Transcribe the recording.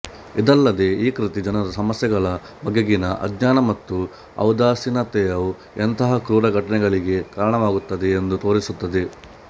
ಇದಲ್ಲದೆ ಈ ಕೃತಿ ಜನರ ಸಮಸ್ಯೆಗಳ ಬಗೆಗಿನ ಆಜ್ಞಾನ ಮತ್ತು ಔದಾಸೀನತೆಯು ಎಂತಹ ಕ್ರೂರ ಘಟನೆಗಳಿಗೆ ಕಾರಣವಾಗುತ್ತದೆ ಎಂದು ತೋರಿಸುತ್ತದೆ